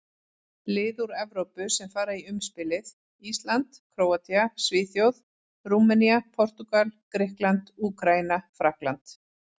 Lið úr Evrópu sem fara í umspilið: Ísland, Króatía, Svíþjóð, Rúmenía, Portúgal, Grikkland, Úkraína, Frakkland.